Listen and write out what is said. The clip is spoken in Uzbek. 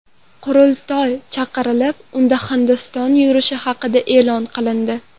Qurultoy chaqirilib, unda Hindiston yurishi haqida e’lon qilindi.